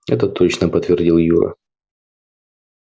это точно подтвердил юра